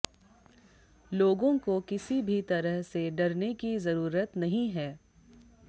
लोगों को किसी भी तरह से डरने की जरूरत नहीं है